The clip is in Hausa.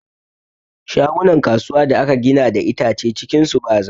Shagunan kasuwa da aka gina da itace, cikin shi ba zafi.